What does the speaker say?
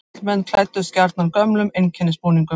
Karlmenn klæddust gjarnan gömlum einkennisbúningum.